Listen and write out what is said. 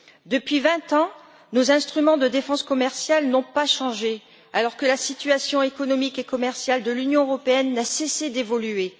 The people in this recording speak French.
Depuis vingt ans, nos instruments de défense commerciale n'ont pas changé alors que la situation économique et commerciale de l'Union européenne n'a cessé d'évoluer.